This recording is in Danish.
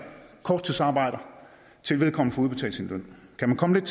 korttidsarbejder til vedkommende får udbetalt sin løn kan man komme